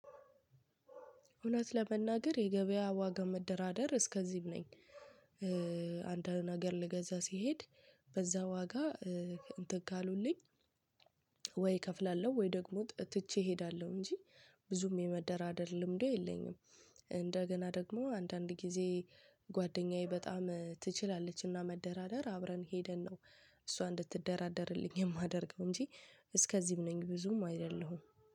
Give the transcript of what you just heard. እውነት ለመናገር የገበያ ዋጋ መደራደር እስከዚህም ነኝ። አንድን ነገር ልገዛ ሲሄድ በዛ ዋጋ እንት ካሉልኝ ወይ እከፍላለሁ ወይ ደግሞ ትቼ እሄዳለሁ እንጂ ብዙም የመደራደር ልምዱ የለኝም። እንደገና ደግሞ አንዳንድ ጊዜ ጓደኛዬ በጣም ትችላለችና መደራደር አብረን ሄደን ነው እሷ እንድትደራደርልኝ የማደርገው እንጂ። እስከዚህም ነኝ ብዙም አይደለሁም